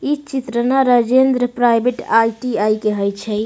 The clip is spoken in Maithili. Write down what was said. इ चित्र न राजेन्द्र प्राइवेट आई.टी.आई. के हई छई।